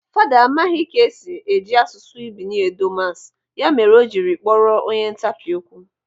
Fada amaghị ka esi eji asụsụ Bini edo masị, ya mere o jiri kpọrọ onye ntapi okwu.